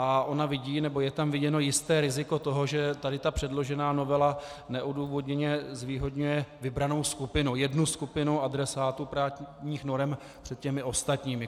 A ona vidí, nebo je tam viděno jisté riziko toho, že tady ta předložená novela neodůvodněně zvýhodňuje vybranou skupinu, jednu skupinu adresátů právních norem před těmi ostatními.